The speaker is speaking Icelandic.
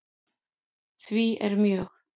Því er mjög